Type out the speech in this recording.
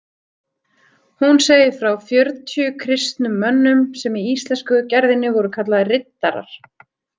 Hún segir frá fjörutíu kristnum mönnum sem í íslensku gerðinni voru kallaðir riddarar.